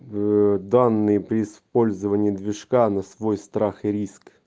данные при использовании движка на свой страх и риск